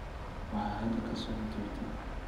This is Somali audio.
waxa hadda ka socda twitter